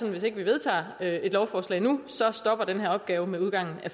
at hvis ikke vi vedtager et lovforslag nu så stopper den her opgave med udgangen af